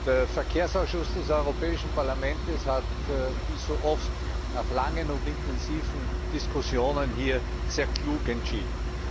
Der Verkehrsausschuss des Europäischen Parlaments hat wie so oft nach langen und intensiven Diskussionen hier sehr klug entschieden.